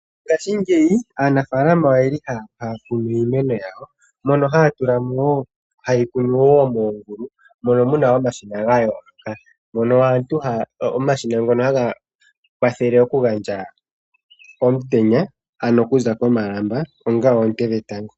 Ngashiingeyi anafaalama oye li haya kunu iimeno yawo mono haya tula mo wo ha yeyi kunu wo moongulu mono muna omashina ga yooloka, omashina ngono haga kwathele okugandja omutenya ano okuza komalamba onga oonte dhetango.